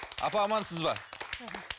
апа амансыз ба